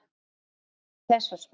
Auk þess var spurt